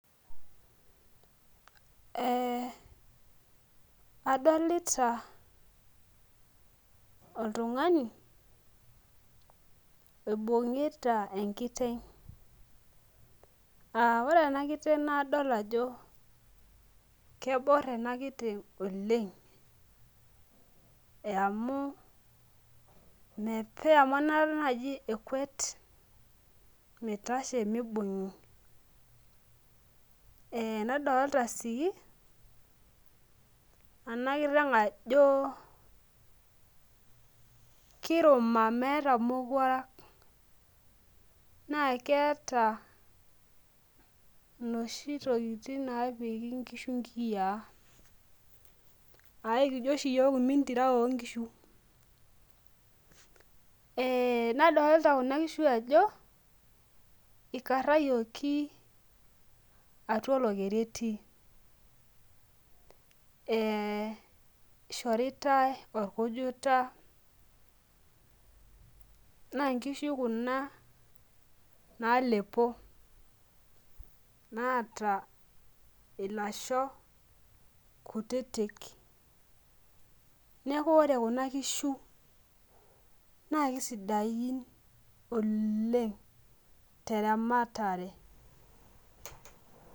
Eh adolita oltung'ani oibung'ita enkiteng uh ore ena kiteng naadol ajo keborr ena kiteng oleng eamu mepe amu enaata naaji ekuet mitashe mibung'i eh nadolta sii ena kiteng ajo kiruma meeta imowuarak naa keeta inoshi tokitin naapiki inkishu inkiyia aikijio oshi iyiok imintira onkishu eh nadolta kuna kishu ajo ikarrayioki atua olokeri etii eh ishoritae orkujita naa inkishu kuna naalepo naata ilasho kutitik neku ore kuna kishu naa kisidain oleng teramatare.